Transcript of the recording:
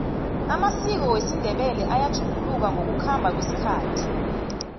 amasiko wesindebele ayatjuguluka ngokukhamba kwesikhathi